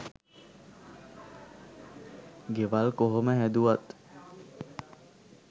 ගෙවල් කොහොම හැදුවත්